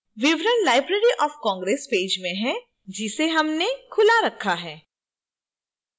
विवरण library of congress page में हैं जिसे हमने खुला रखा है